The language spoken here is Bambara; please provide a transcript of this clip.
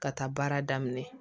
Ka taa baara daminɛ